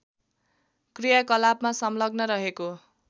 क्रियाकलापमा संलग्न रहेको